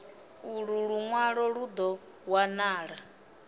ulu lunwalo lu do wanala